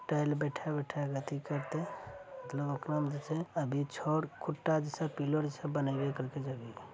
टाइल बैठा-बैठा के अथी करते मतलब ओकरा में जे छै अभी छड़ खुट्टा जैसे पिलर जैसे --